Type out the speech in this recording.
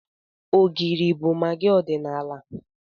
Ogiri bụ magị ọdịnala Igbo.